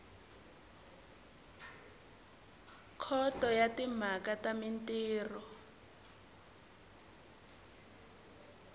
khoto ya timhaka ta mintirho